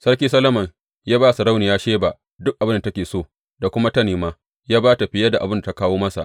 Sarki Solomon ya ba sarauniyar Sheba duk abin da take so da kuma ta nema; ya ba ta fiye da abin da ta kawo masa.